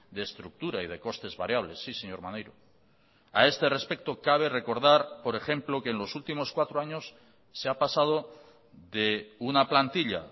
de estructura y de costes variables sí señor maneiro a este respecto cabe recordar por ejemplo que en los últimos cuatro años se ha pasado de una plantilla